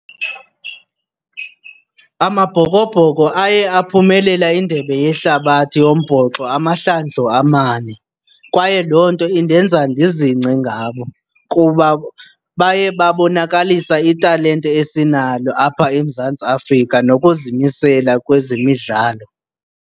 Amabhokobhoko aye aphumelela iNdebe yeHlabathi yoMbhoxo amahlandlo amane kwaye loo nto indenza ndizingce ngabo kuba baye babonakalisa italente esinalo apha eMzantsi Afrika nokuzimisela kwezemidlalo.